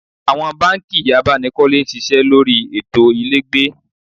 Awon banki abanikole n sise lori eto ilegbe